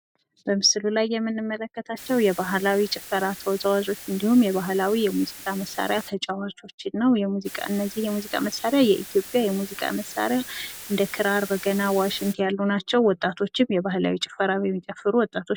በምስሉ ላይ የምንመለከታቸው የባህላዊ ጭፈራ ተዋዛዋዦች እንዲሁም የባህላዊ የሙዚቃ መሳሪያ ተጫዋቾች ነው ። እነዚህ የሙዚቃ መሳሪያ የኢትዮጵያ የሙዚቃ መሳሪያ እንደ ክራር ፣ በገና ፣ ዋሽንት አይነት ናቸው ። ወጣቶችም የባህላዊ ጭፈራ የሚጨፍሩ ወጣቶችም